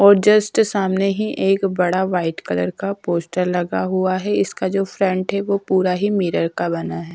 और जस्ट सामने ही एक बड़ा वाइट कलर का पोस्टर लगा हुआ है इसका जो फ्रंट है वो पूरा ही मिरर का बना है।